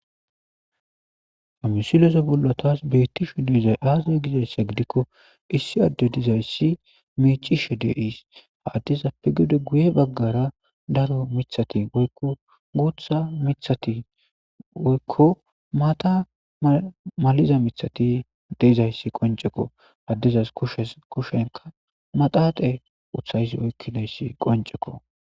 Ha misilese bollo taas beettishe deiza aaze gizayssa gidikko issi adde dizayssi miicishe de iis haaddiza pi gude guye baggara daro mithati oykko guutha mithati woykko maata maliza mithati deizayssi qoncekko addezas kushes kushenka maxaaqe uthayss oykkinayssi qoncekko.